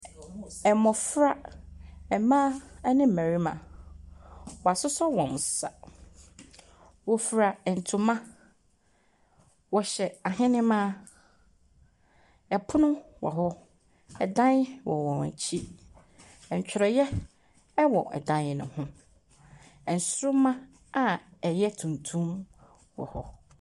Mmɔfra, mmaa ne mmarima. Wɔasosɔ wɔn nsa. Wɔfura ntoma. Wɔhyɛ ahenemma. Pono wɔ hɔ. Dan wɔ wɔn akyi. Ntwerɛeɛ wɔ dan no ho. Nsoroma a ɛyɛ tuntum wɔ hɔ.